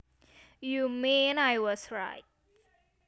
You mean I was right